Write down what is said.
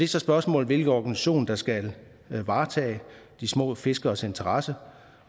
så spørgsmålet hvilken organisation der skal varetage de små fiskeres interesser